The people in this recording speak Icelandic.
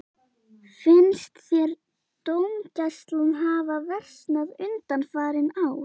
Finnst þér dómgæslan hafa versnað undanfarin ár?